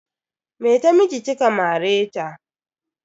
Me ta miki kika mare ta?